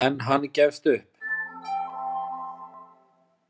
En hann gefst upp.